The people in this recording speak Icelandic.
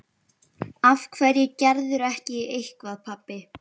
Af hverju gerirðu ekki eitthvað, pabbi?